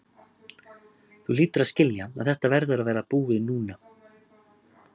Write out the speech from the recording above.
Þú hlýtur að skilja að þetta verður að vera búið núna.